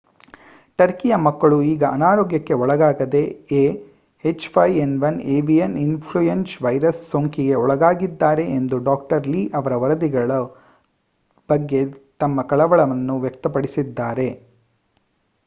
ಟರ್ಕಿಯ ಮಕ್ಕಳು ಈಗ ಅನಾರೋಗ್ಯಕ್ಕೆ ಒಳಗಾಗದೆ ah5n1ಏವಿಯನ್ ಇನ್ಫ್ಲುಯೆನ್ಸ ವೈರಸ್ ಸೋಂಕಿಗೆ ಒಳಗಾಗಿದ್ದಾರೆ ಎಂದು ಡಾ. ಲೀ ಅವರ ವರದಿಗಳ ಬಗ್ಗೆ ತಮ್ಮ ಕಳವಳವನ್ನು ವ್ಯಕ್ತಪಡಿಸಿದರು